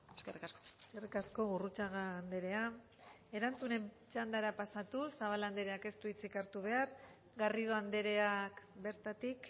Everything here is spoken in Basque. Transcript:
eskerrik asko eskerrik asko gurrutxaga andrea erantzunen txandara pasatuz zabala andreak ez du hitzik hartu behar garrido andreak bertatik